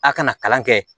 A kana kalan kɛ